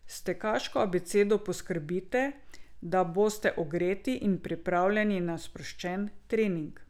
S tekaško abecedo poskrbite, da boste ogreti in pripravljeni na sproščen trening.